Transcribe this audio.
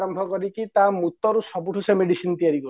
ଗନ୍ଧ କରିକି ତା ମୁତରୁ ସେ medicine ତିଆରି କରୁଛନ୍ତି